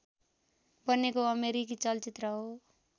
बनेको अमेरिकी चलचित्र हो